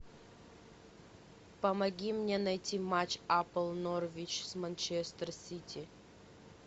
помоги мне найти матч апл норвич с манчестер сити